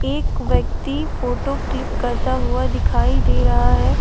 एक व्यक्ति photo click करता हुआ दिखाई दे रहा है।